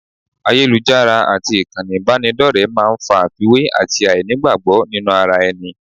Ayélujára àti ìkànnì ìbánidọ́rẹ̀ẹ́ máa ń fa àfiwé àti àìní ìgbàgbọ́ nínú ara ẹni